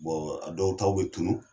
a dɔw tɔw bɛ tunun